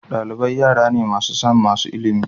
Dalibai yara ne masu son samun ilimi.